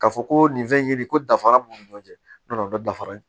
Ka fɔ ko nin fɛn ye nin ye ko dafara b'u ni ɲɔgɔn cɛ n'o nana dafara